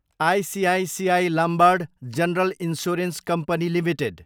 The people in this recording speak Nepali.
ICICI Lombard general insurance company Ltd